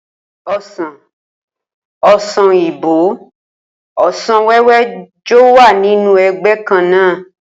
O̩sàn, o̩sàn òyìnbó, o̩sàn wé̩wé̩ jo̩ wà nínú e̩gbé̩ kan náà